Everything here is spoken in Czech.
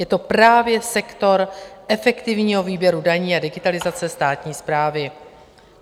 Je to právě sektor efektivního výběru daní a digitalizace státní správy.